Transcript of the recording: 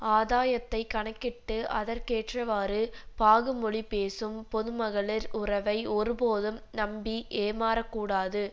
ஆதாயத்தை கணக்கிட்டு அதற்கேற்றவாறு பாகுமொழிபேசும் பொதுமகளிர் உறவை ஒருபோதும் நம்பி ஏமாறக்கூடாது